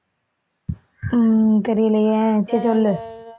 உம் தெரியலையே சரி சொல்லு